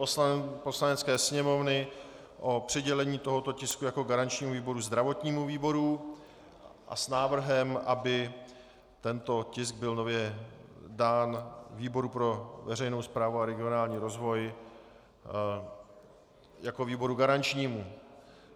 Poslanecké sněmovny o přidělení tohoto tisku jako garančnímu výboru zdravotnímu výboru a s návrhem, aby tento tisk byl nově dán výboru pro veřejnou správu a regionální rozvoj jako výboru garančnímu.